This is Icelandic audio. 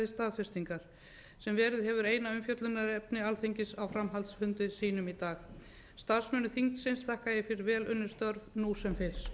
staðfestingar sem verið hefur eina umfjöllunarefni alþingis á framhaldsfundi sínum í dag starfsmönnum þingsins þakka ég fyrir vel unnin störf nú sem fyrr